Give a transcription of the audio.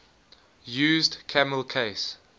used camel case